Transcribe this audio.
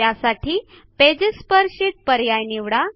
त्यासाठी pages per sheet पर्याय निवडा